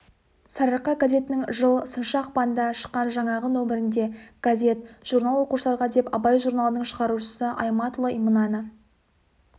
сарыарқа газетінің жыл сыншы ақпанда шыққан жаңағы нөмірінде газет журнал оқушыларға деп абай журналының шығарушысы аймауытұлы мынаны